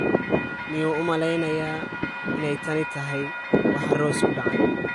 Miyuu u malaynayaa inay tani tahay waxa Rose ku dhacay?